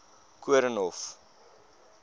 koornhof